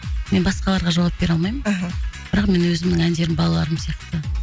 мен басқаларға жауап бере алмаймын мхм бірақ менің өзімнің әндерім балаларым сияқты